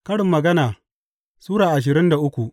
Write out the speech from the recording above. Karin Magana Sura ashirin da uku